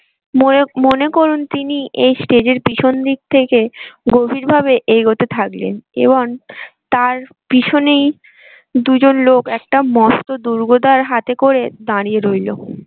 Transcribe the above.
মনে, মনে করুন তিনি এই stage এর পেছন দিক থেকে গভীর ভাবে এগোতে থাকলেন এবং তার পিছনেই দুজন লোক একটা মস্ত হাতে করে দাঁড়িয়ে রইলো।